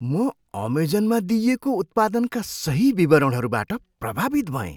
म अमेजनमा दिइएको उत्पादनका सही विवरणहरूबाट प्रभावित भएँ।